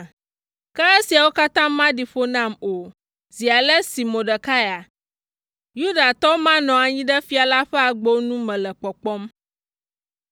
Ke esiawo katã maɖi ƒo nam o, zi ale si Mordekai, Yudatɔ ma nɔ anyi ɖe fia la ƒe agbo nu mele kpɔkpɔm.”